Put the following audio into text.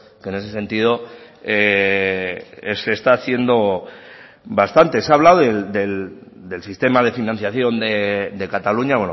que en ese sentido se está haciendo bastante se ha hablado del sistema de financiación de cataluña